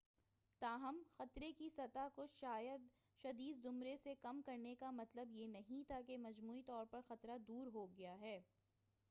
تاہم خطرے کی سطح کو شدید زمرے سے کم کرنے کا مطلب یہ نہیں ہے کہ مجموعی طور پر خطرہ دور ہو گیا ہے